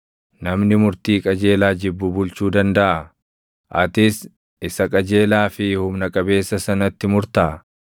Namni murtii qajeelaa jibbu bulchuu dandaʼaa? Atis isa qajeelaa fi humna qabeessa sanatti murtaa?